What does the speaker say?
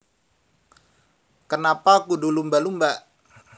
Kenapa Kudu Lumba Lumba